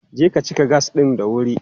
Je ka cike gas ɗin da wuri!